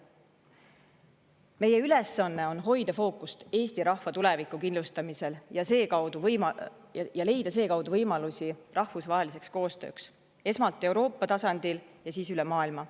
Meie ülesanne on hoida fookust Eesti rahva tuleviku kindlustamisel ja leida sealtkaudu võimalusi rahvusvaheliseks koostööks esmalt Euroopa tasandil ja siis üle maailma.